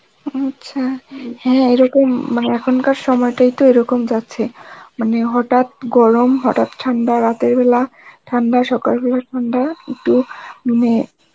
আচ্ছা, হ্যাঁ এইরকম মানে এখনকার সময়টাই তো এরকম যাচ্ছে, মানে হটাত গরম হটাত ঠান্ডা রাতের বেলা ঠান্ডা সকাল বেলা ঠান্ডা কিন্তু মানে